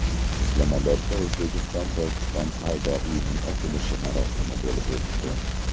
Islomobodda O‘zbekistonPokiston savdo uyining ochilish marosimi bo‘lib o‘tdi.